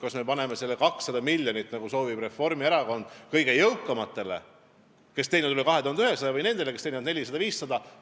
Kas me anname 200 miljonit, nagu soovib Reformierakond, kingitusena kõige jõukamatele, kes teenivad üle 2100 euro, või nendele, kes teenivad 400–500 eurot?